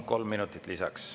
Kolm minutit lisaks.